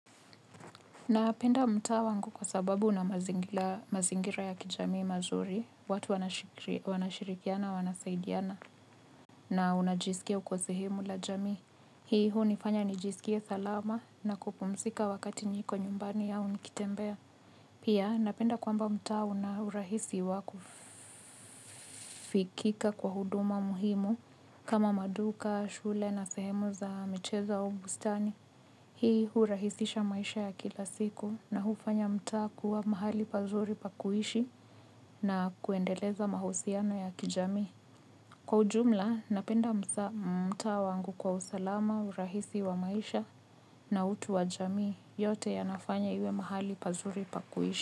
Napenda mtaa wangu kwa sababu una mazingira ya kijamii mazuri, watu wanashirikiana, wanasaidiana, na unajisikia uko sehemu la jamii. Hii hunifanya nijisikie salama na kupumsika wakati niko nyumbani au nikitembea. Pia napenda kwamba mtaa unaurahisi wa kufikika kwa huduma muhimu kama maduka, shule na sehemu za mchezo au bustani. Hii hurahisisha maisha ya kila siku na hufanya mtaa kuwa mahali pazuri pakuishi na kuendeleza mahusiano ya kijamii. Kwa ujumla, napenda mtaa wangu kwa usalama, urahisi wa maisha na utu wa jamii yote yanafanya iwe mahali pazuri pakuishi.